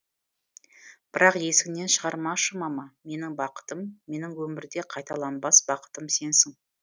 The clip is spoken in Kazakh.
бірақ есіңнен шығармашы мама менің бақытым менің өмірде қайталанбас бақытым сенсің